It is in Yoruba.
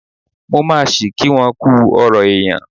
Mo máa ṣí kí won kú ọrọ̀ èèyàn.